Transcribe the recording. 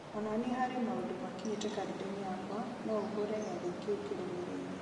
onania harĩa maũndũ makinyĩte karenda-inĩ yakwa na ũhure gĩathĩ kĩu kĩrũmĩrĩire